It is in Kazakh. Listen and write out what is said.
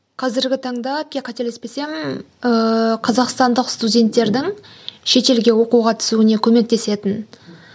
қазіргі таңда қателеспесем ыыы қазақстандық студенттердің шетелге оқуға түсуіне көмектесетін